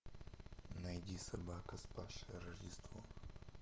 найди собака спасшая рождество